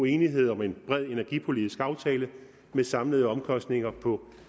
enighed om en bred energipolitisk aftale med samlede omkostninger på